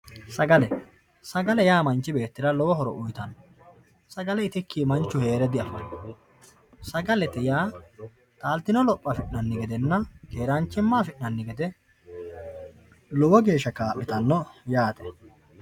sagale sagale yaa manchi beettira lowo horo uyiitanno, sagale itikki manchu heere diafanno, sagalete yaa taaltino lopho afi'nanni gedenna keeraanchimma afi'nanni gede lowo geeshsha kaa'litanno yaate.